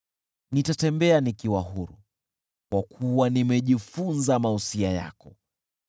Nitatembea nikiwa huru, kwa kuwa nimejifunza mausia yako.